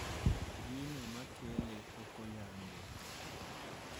Gino makele pokoyangi.